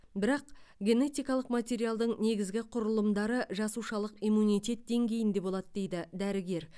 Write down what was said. бірақ генетикалық материалдың негізгі құрылымдары жасушалық иммунитет деңгейінде болады дейді дәрігер